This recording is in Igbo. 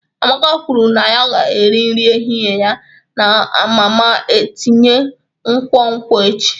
Amaka kwuru na ya ga-eri nri ehihie ya na mama tinye nkwonkwo echi.